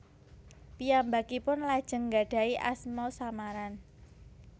Piyambakipun lajeng nggadahi asma samaran